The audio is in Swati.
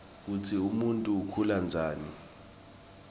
kutsi umuntfu ukhula njani